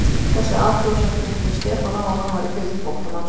Þessi athugasemd minnti Stefán á að hann var í fylgd flóttamanns.